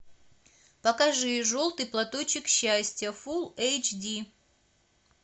покажи желтый платочек счастья фулл эйч ди